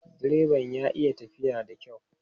Direban ya iya tafiya da kyau.